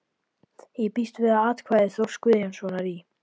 Ég býst við að atkvæði Þórs Guðjónssonar í